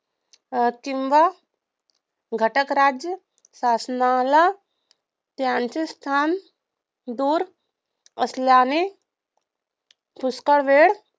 अं किंवा घटकराज्य शासनाला त्यांचे स्थान दूर असल्याने पुष्कळ वेळ लागतो.